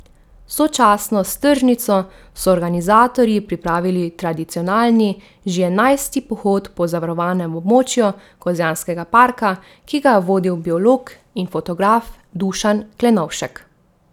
Sočasno s tržnico so organizatorji pripravili tradicionalni, že enajsti pohod po zavarovanem območju Kozjanskega parka, ki ga je vodil biolog in fotograf Dušan Klenovšek.